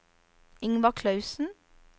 Ingvar Clausen